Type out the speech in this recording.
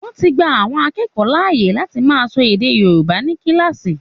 Wọ́n ti gba àwọn akẹ́kọ̀ọ́ láàyè lati máa sọ èdè Yorùbá ní kíláàsì